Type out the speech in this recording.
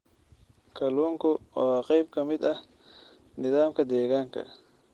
Kalluunku waa qayb ka mid ah nidaamka deegaanka.